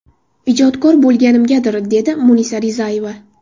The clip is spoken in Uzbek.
Ijodkor bo‘lganimgadir”, dedi Munisa Rizayeva.